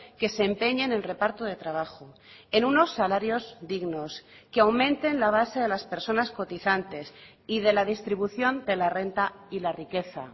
que se empeñe en el reparto de trabajo en unos salarios dignos que aumenten la base de las personas cotizantes y de la distribución de la renta y la riqueza